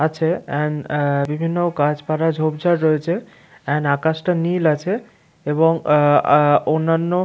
আছে এন্ড অ্যা বিভিন্ন গাছপালা ঝোপঝাড় রয়েছে এন্ড আকাশটা নীল আছে এবং অ্যা অ্যা অন্যানো--